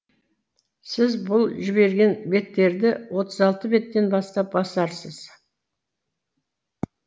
сіз бұл жіберген беттерді отыз алты беттен бастап басарсыз